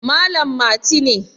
Malam Mati ne